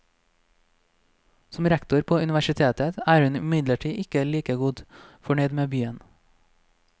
Som rektor på universitetet er hun imidlertid ikke like godt fornøyd med byen.